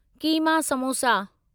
keema samosa